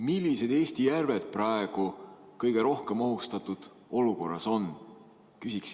Millised Eesti järved praegu kõige rohkem ohustatud olukorras on?